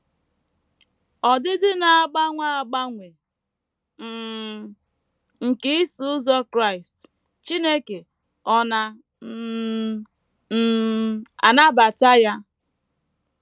Ọdịdị Na - agbanwe Agbanwe um nke “ Iso Ụzọ Kraịst ” Chineke Ọ̀ Na um um - anabata Ya?